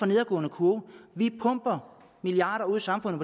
nedadgående kurve vi pumper milliarder ud i samfundet